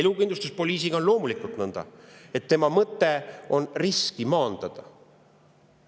Elukindlustuspoliisiga on loomulikult nõnda, et tema mõte on riski maandada.